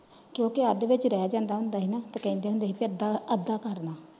ਕਿਓਂਕਿ ਅੱਧ ਵਿਚ ਰਹਿ ਜਾਂਦਾ ਹੁੰਦਾ ਸੀ ਨਾ ਤੇ ਕਹਿੰਦੇ ਹੁੰਦੇ ਸੀ ਕ ਅੱਧਾ ਅੱਧਾ ਕਰਨਾ।